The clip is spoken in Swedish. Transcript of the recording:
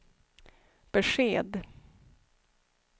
besked